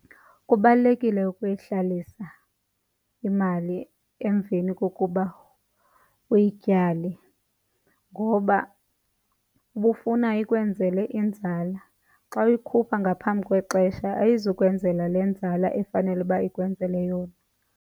Kubalulekile ukuyihlalisa imali emveni kokuba uyityale ngoba ubufuna ukwenzele inzala. Xa uyikhupha ngaphambi kwexesha ayizukwenzela le nzala efanele uba ikwenzele yona.